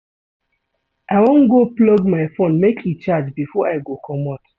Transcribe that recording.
I wan go plug my fone make e charge before I go comot.